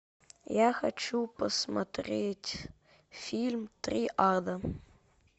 я хочу посмотреть фильм триада